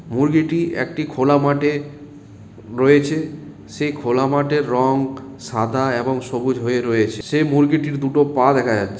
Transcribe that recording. মুরগিটি একটি খোলা মাঠে রয়েছে সেই খোলা মাঠের রং সাদা এবং সবুজ হয়ে রয়েছে সেই মুরগিটির দুটো পা দেখা যাচ্ছে।